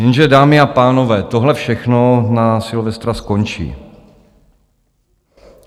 Jenže dámy a pánové, tohle všechno na Silvestra skončí.